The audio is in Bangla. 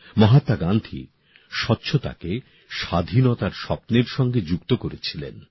মহাত্মা গান্ধী স্বচ্ছতাকে স্বাধীনতার স্বপ্নের সঙ্গে যুক্ত করেছিলেন